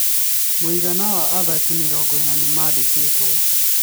Mũigana wa athaki mĩrongo ĩna nĩmandĩkĩtwo.